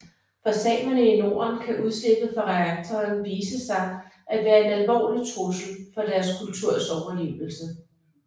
For samerne i Norden kan udslippet fra reaktoren vise sig at være en alvorlig trussel for deres kulturs overlevelse